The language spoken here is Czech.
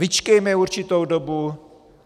Vyčkejme určitou dobu.